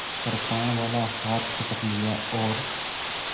कृपाणवाला हाथ पकड़ लिया और